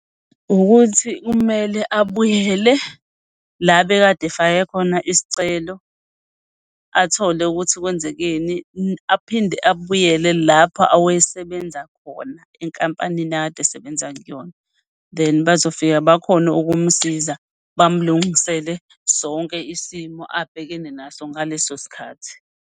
Ukuthi kumele abuyele la abekade efake khona isicelo athole ukuthi kwenzekeni, aphinde abuyele lapho awayesebenza khona enkampanini akade esebenza kuyona. Then bazofika bakhone ukumsiza, bamlungisele sonke isimo abhekene naso ngaleso sikhathi.